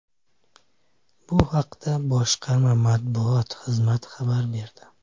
Bu haqda boshqarma matbuot xizmati xabar berdi.